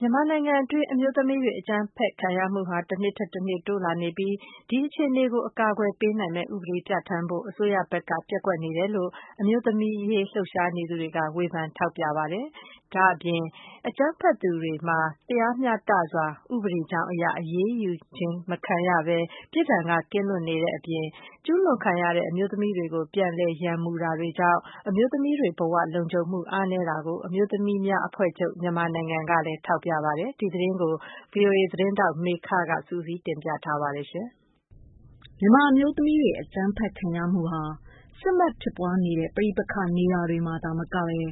မြန်မာနိုင်ငံတွင်း အမျိုးသမီးတွေ အကြမ်းဖက်ခံရမှုဟာ တနှစ်ထက်တနှစ်တိုးလာနေပြီး၊ ဒီအခြေအနေကို အကာအကွယ်ပေးနိုင်မယ့် ဥပဒေပြဌာန်းဖို့ အစိုးရဘက်က ပျက်ကွက်နေတယ်လို့ အမျိုးသမီးအရေး လှုပ်ရှားနေသူတွေက ထောက်ပြဝေဖန်ပါတယ်။ ဒီပြင် အကြမ်းဖက်သူများမှာ တရားမျှတစွာ ဥပဒေကြောင်းအရ အရေးယူခြင်းမခံရဘဲ ပြစ်ဒဏ်ကနေလွတ်ကင်းနေတဲ့အပြင် ကျူးလွန်ခံ အမျိုးသမီးတွေကို ပြန်လည်ရန်မှုတာတွေ ကြောင့် အမျိုးသမီးတွေ ဘဝလုံခြုံမှု အားနည်းနေတာကို အမျိုးသမီးများအဖွဲ့ချုပ် က ထောက်ပြပါတယ်။ ဒီသတင်းကို ဗွီအိုအေ သတင်းထောက် မေခက စုစည်းတင်ပြထားပါတယ်။ မြန်မာအမျိုးသမီးတွေ အကြမ်းဖက်ခံရမှုဟာ စစ်မက်ဖြစ်ပွားနေတဲ့ ပဋိပက္ခနေရာတွေမှာသာမကဘဲ ဥ